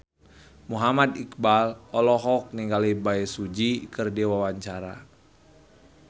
Muhammad Iqbal olohok ningali Bae Su Ji keur diwawancara